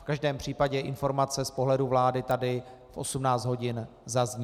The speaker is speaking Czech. V každém případě informace z pohledu vlády tady v 18 hodin zazní.